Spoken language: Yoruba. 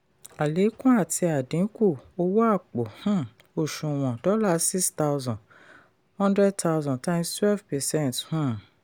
àlékún àti ìdínkù owó àpò um òṣùnwọ̀n: dollar six thousand hundred thousand times twelve percent um